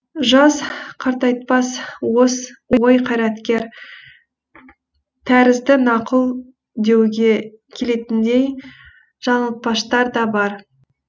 жас қартайтпас ой қартайтар тәрізді нақыл деуге келетіндей жаңылтпаштар да бар